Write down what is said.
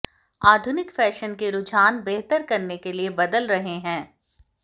आधुनिक फैशन के रुझान बेहतर करने के लिए बदल रहे हैं